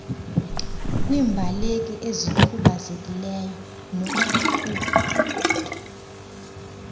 kwiimbaleki ezikhubazekileyo nokuqukwa